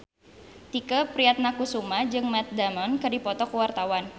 Tike Priatnakusuma jeung Matt Damon keur dipoto ku wartawan